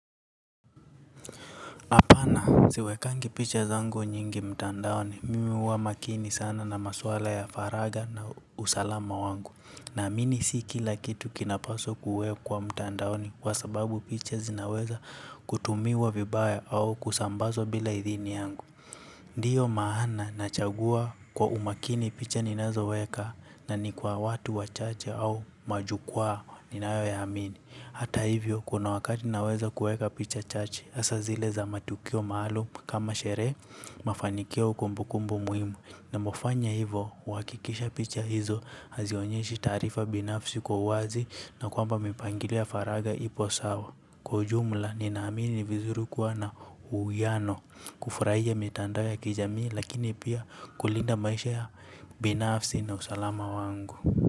Hapana siwekangi piche zangu nyingi mtandaoni, mimi huwa makini sana na maswala ya faraga na usalama wangu. Naamini si kila kitu kinapaswa kuwekwa mtandaoni kwa sababu picha zinaweza kutumiwa vibaya au kusambazwa bila idhini yangu. Ndiyo maana nachagua kwa umakini picha ninazoweka na ni kwa watu wachache au majukuwa ninayo yaamini. Hata hivyo kuna wakati naweza kueka picha chache asa zile za matukio maalum kama shere mafanikio kumbukumbu muhimu. Huwakikisha picha hizo hazionyeshi taarifa binafsi kwa uwazi na kwamba kwaujumla ni naamini vizuri kuwa na uiyano kufurahia mitandao ya kijami lakini pia kulinda maisha ya binafsi na usalama wangu.